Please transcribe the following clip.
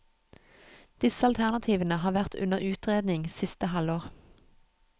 Disse alternativene har vært under utredning siste halvår.